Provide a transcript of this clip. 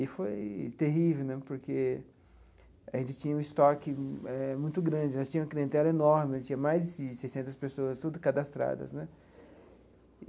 E foi terrível né, porque a gente tinha um estoque eh muito grande né, nós tinha uma clientela enorme, tinha mais de seiscentas pessoas tudo cadastradas né.